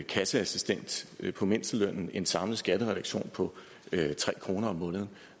kasseassistent på mindstelønnen en samlet skattereduktion på tre kroner om måneden